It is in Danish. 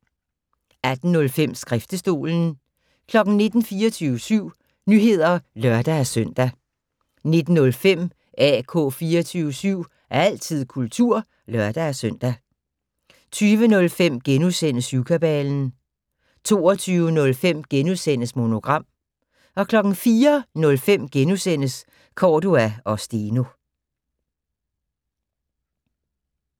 18:05: Skriftestolen 19:00: 24syv Nyheder (lør-søn) 19:05: AK 24syv - altid kultur (lør-søn) 20:05: Syvkabalen * 22:05: Monogram * 04:05: Cordua & Steno *